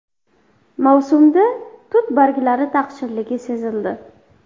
Mavsumda tut barglari taqchilligi sezildi.